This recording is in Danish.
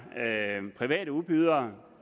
private udbydere